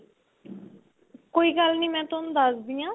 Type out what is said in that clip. ਕੋਈ ਗੱਲ ਨੀ ਮੈਂ ਤੁਹਾਨੂੰ ਦੱਸਦੀ ਆਂ